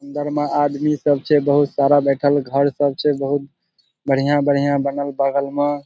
अंदर में आदमी सब छे बहुत सारा बइठल घर सब छे बहुत बढ़िया-बढ़िया बनल बगल में।